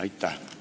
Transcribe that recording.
Aitäh!